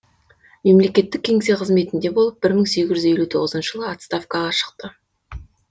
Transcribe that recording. мемлекеттік кеңсе қызметінде болып бір мың сегіз жүз елу тоғызыншы жылы отставкаға шықты